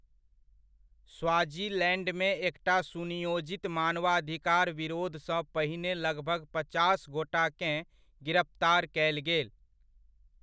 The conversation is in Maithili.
स्वाज़ीलैंडमे एकटा सुनियोजित मानवाधिकार विरोधसँ पहिने लगभग पचास गोटाकेँ गिरफ्तार कयल गेल।